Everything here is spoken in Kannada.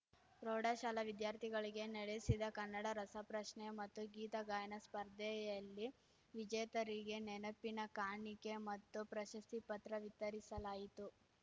ಪ್ರೌಢಶಾಲಾ ವಿದ್ಯಾರ್ಥಿಗಳಿಗೆ ನಡೆಸಿದ ಕನ್ನಡ ರಸ ಪ್ರಶ್ನೆ ಮತ್ತು ಗೀತ ಗಾಯನ ಸ್ಪರ್ಧೆಯಲ್ಲಿ ವಿಜೇತರಿಗೆ ನೆನಪಿನ ಕಾಣಿಕೆ ಮತ್ತು ಪ್ರಶಸ್ತಿ ಪತ್ರ ವಿತರಿಸಲಾಯಿತು